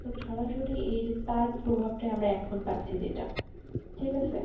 সরাসরি এইযে তার প্রভাব টা এখন পাচ্ছি যেটা ঠিক আছে